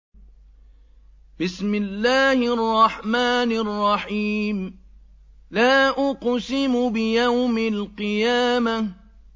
لَا أُقْسِمُ بِيَوْمِ الْقِيَامَةِ